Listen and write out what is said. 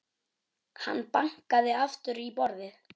Hann bankaði aftur í borðið.